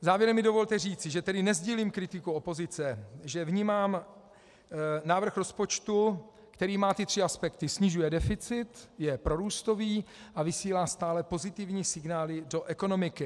Závěrem mi dovolte říct, že tedy nesdílím kritiku opozice, že vnímám návrh rozpočtu, který má ty tři aspekty: snižuje deficit, je prorůstový a vysílá stále pozitivní signály do ekonomiky.